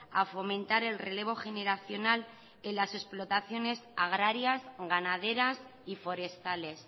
a fomentar el relevo generacional en las explotaciones agrarias ganaderas y forestales